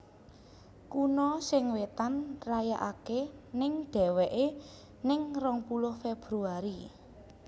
Kuno sing Wetan rayakake neng deweke neng rong puluh Febuari